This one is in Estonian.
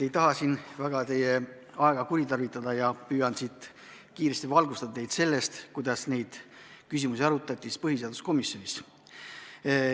Ei taha siin väga teie aega kuritarvitada ja püüan kiiresti valgustada teile seda, kuidas neid küsimusi arutati põhiseaduskomisjonis.